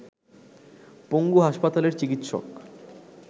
পঙ্গু হাসপাতালের চিকিৎসক